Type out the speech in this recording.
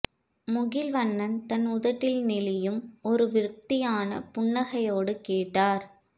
முகில்வண்ணன் தன் உதட்டில் நெளியும் ஒரு விரக்தியான புன்னகையோடு கேட்டார்